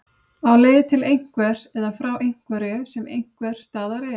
Á leið til einhvers eða frá einhverju sem einhvers staðar er.